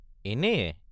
এনেয়ে?